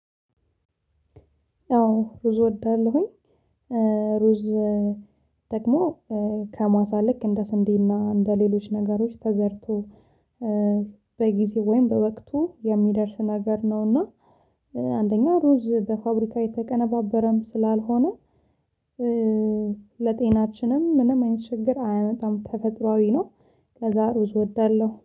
አዎ ሩዝ እወዳለሁኝ። ሩዝ ደግሞ ከማሳ ልክ እንደ ስንዴና እንደ ሌሎች ነገሮች ተዘርቶ በጊዜ ወይም በወቅቱ የሚደርስ ነገር ነውና። አንደኛ ሩዝ በፋብሪካ የተቀነባበረም ስላልሆነ። ለጤናችንም ምንም አይነት ችግር አያመጣም ተፈጥሮአዊ ነው። ከዛ ሩዝ እወዳለሁ